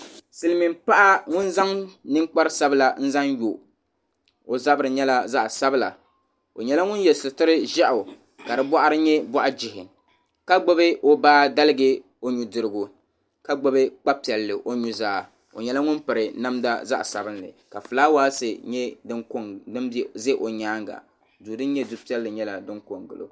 Silimiin paɣi ŋuni zaŋ nini kpari sabila n zaŋ yo o zabiri yɛla zaɣi sabila o yɛla ŋuni yiɛ sitiri zɛɣu ka di bɔɣuri yɛ bɔɣu jihi ka gbubi o baa galigɛ o nuu dirigu ka gbubi kpa piɛlli o nu zaa o yɛla ŋuni piri namda zaɣi sabinli ka flawaasi yɛ dini za o nyanga. duu dini yɛ duu piɛlli yɛla dini ko n gili o.